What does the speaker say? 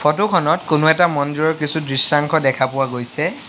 Photo খনত কোনো এটা মন্দিৰৰ কিছু দৃশ্যাংশ দেখা পোৱা গৈছে।